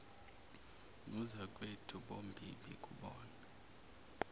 nozakwethu bombimbi kubona